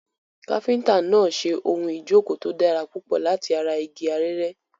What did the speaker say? Káfíńtà náà ń ṣe ohun ìjókòó tó dára púpọ̀ láti ara igi arère.